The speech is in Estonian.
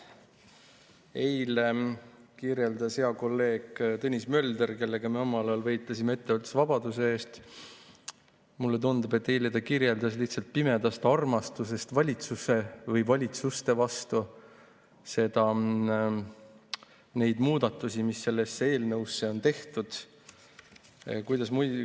Mulle tundub, et eile kirjeldas hea kolleeg Tõnis Mölder, kellega me omal ajal võitlesime ettevõtlusvabaduse eest, lihtsalt pimedast armastusest valitsuse või valitsuste vastu neid muudatusi, mis sellesse eelnõusse on tehtud.